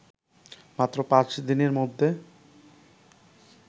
মাত্র পাঁচ দিনের মধ্যে